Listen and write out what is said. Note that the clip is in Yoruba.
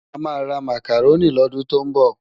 Amá rá Mákárôni lòdún tó nbò